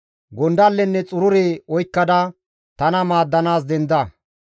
Gondallenne xurure oykkada, tana maaddanaas denda.